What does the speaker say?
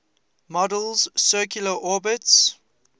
model's circular orbits